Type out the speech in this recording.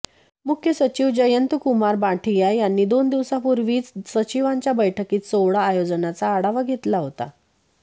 मुख्य सचिव जयंतकुमार बाँठिया यांनी दोन दिवसांपूर्वीच सचिवांच्या बैठकीत सोहळा आयोजनाचा आढावा घेतला होता